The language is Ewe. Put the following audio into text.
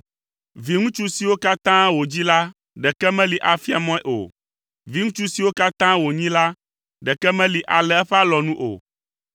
Viŋutsu siwo katã wòdzi la ɖeke meli afia mɔe o. Viŋutsu siwo katã wònyi la, ɖeke meli alé eƒe alɔnu o.